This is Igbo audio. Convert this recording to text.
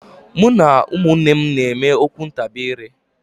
Mụ na ụmụnne m na-eme okwu ntabi ire.